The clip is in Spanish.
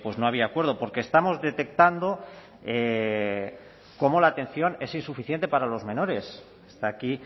no había acuerdo porque estamos detectando cómo la atención es insuficiente para los menores está aquí